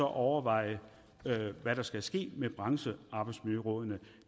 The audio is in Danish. overveje hvad der skal ske med branchearbejdsmiljørådene